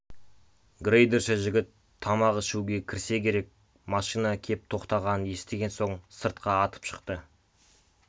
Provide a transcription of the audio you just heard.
грейдерші жігіт тамақ ішуге кірсе керек машина кеп тоқтағанын естіген соң сыртқа атып шықты